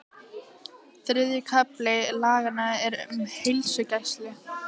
Þriðji kafli laganna er um heilsugæslu.